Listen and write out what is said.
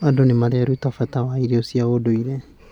Andũ nĩ mareruta bata wa irio cia ũndũire.